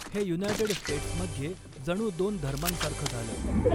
हे United States मध्ये जणू दोन धर्मांसारखं झालं.